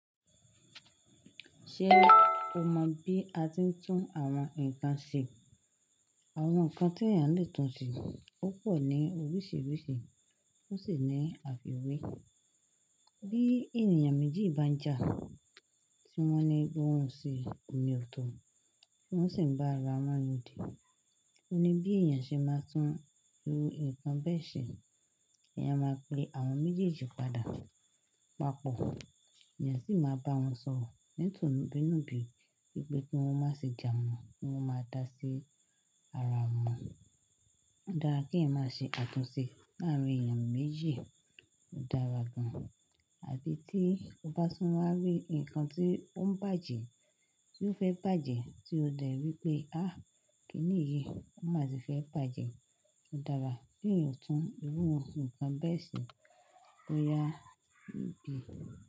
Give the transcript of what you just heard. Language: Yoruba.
Ṣé o mọ bí a ti ń tún àwọn nǹkan ṣe? Àwọn nǹkan tí èèyàn le tún ṣe púpọ̀ ní oríṣiríṣi, ó sì ní àfìwé. Bí ènìyàn méjì bá ń jà, tí wọ́n ní pé wọ́n ò ṣe òní ọ̀tọ̀, tí wọ́n sì ń bá ara wọn yan òdì, ọ̀ ní bí èèyàn ṣe máa tún irú nǹkan bẹ́ẹ̀ ṣe, èèyàn máa pe àwọn méjèèjì padà, papọ̀. Ẹ̀yàn sì máa bá wọn sọ̀rọ̀ ni tunbi nubi wípé kí wọ́n má ṣe jà mọ́, kí wọ́n máa dá sí ara wọn mọ́. Ó dára kí ẹ̀yin má ṣe àtúnṣe láàárín èèyàn méjì, ó dára gan-an, àbí tí o bá tún wá rí nǹkan tí ó ń bàjẹ́ tí o fẹ́ bàjẹ́ tí o dẹ̀ rí pé, "àh! Kí ni yí?" Ó má tì fẹ́ bàjẹ́. Ó dára kí ẹ̀yan tún irú nǹkan bẹ́ẹ̀ ṣe bóyá ìbí.